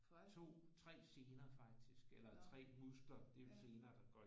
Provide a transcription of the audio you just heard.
2 3 sener faktisk eller 3 muskler det er jo sener der går